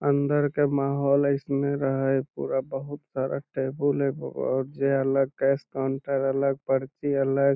अंदर के माहौल ऐसने रहे पूरा बहुत सारा टेबुल और जे वला कैश काउंटर अलग पर्ची अलग ।